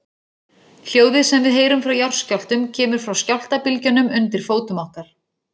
Hljóðið sem við heyrum frá jarðskjálftum kemur frá skjálftabylgjunum undir fótum okkar.